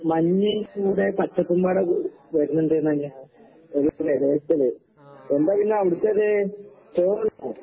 മഞ്ഞിക്കൂടെ പച്ചപ്പുംപാടെ കൂടി വര്ന്ന്ണ്ട്നല്ലാ. എന്താ പിന്നവിടത്തത്? ചോറുണ്ടോ?